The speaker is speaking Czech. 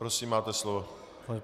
Prosím, máte slovo.